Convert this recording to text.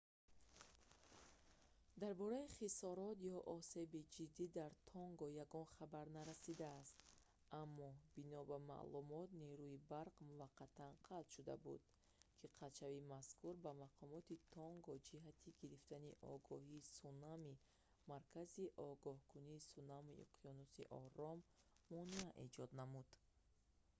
дар бораи хисорот ё осеби ҷиддӣ дар тонга ягон хабар нарасидааст аммо бино ба маълумот нерӯи барқ ​​муваққатан қатъ шуда буд ки қатъшавии мазкур ба мақомоти тонган ҷиҳати гирифтани огоҳии сунамии мосуо маркази огоҳкунии сунамии уқёнуси ором монеа эҷод намуд